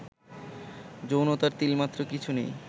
যৌনতার তিলমাত্র কিছু নেই